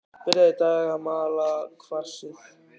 Byrjað í dag að mala kvarsið.